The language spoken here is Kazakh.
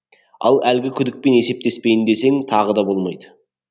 ал әлгі күдікпен есептеспейін десең тағы да болмайды